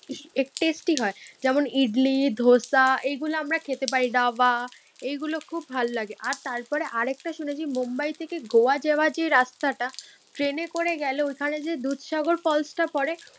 Tasty হয়। ইডলি, ধোসা এগুলো আমরা খেতে পারি। ডাভা এইগুলো খুব ভালো লাগে। আর তারপরে আর একটা শুনেছি মুম্বাই থেকে গোয়া যাওয়ার যে রাস্তাটা ট্রেনে করে গেলে ওখানে যে দুধসাগর ফলসটা পরে